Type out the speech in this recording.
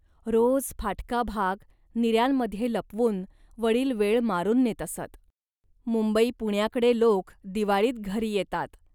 रोज फाटका भाग निऱ्यांमध्ये लपवून वडील वेळ मारून नेत असत. मुंबई पुण्याकडे लोक दिवाळीत घरी येतात